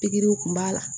Pikiriw kun b'a la